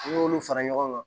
N'i y'olu fara ɲɔgɔn kan